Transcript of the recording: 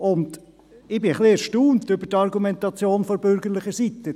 Ich bin ein bisschen erstaunt über die Argumentation der bürgerlichen Seite.